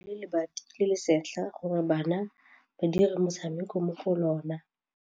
Ba rekile lebati le le setlha gore bana ba dire motshameko mo go lona.